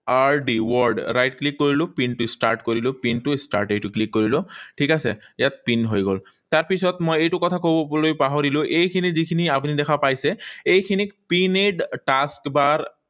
R D, word, right click কৰিলো। পিনটো start কৰিলো। পিনটো start এইটো click কৰিলো। ঠিক আছে? ইয়াত পিন হৈ গল। তাৰপিছত মই এইটো কথা কবলৈ পাহৰিলো। এইখিনি যিখিনি আপুনি দেখা পাইছে। এইখিনিক pinned task bar